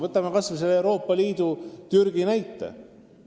Võtame kas või selle Euroopa Liidu ja Türgi lepingu näite.